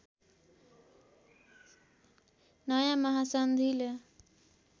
नयाँ महासन्धिले